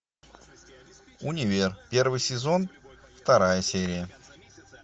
универ первый сезон вторая серия